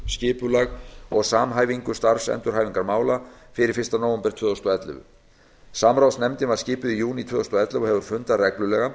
skipulag og samhæfingu starfsendurhæfingarmála fyrir fyrsta nóvember tvö þúsund og ellefu samráðsnefndin var skipuð í júní tvö þúsund og ellefu og hefur fundað reglulega